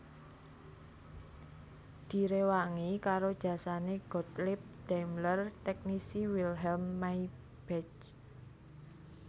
Direwangi karo jasane Gottlieb Daimler teknisi Wilhelm Maybach